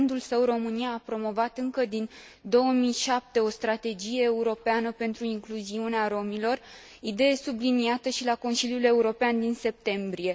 La rândul său, România a promovat încă din 2007 o strategie europeană pentru incluziunea romilor, idee subliniată și la Consiliul European din septembrie.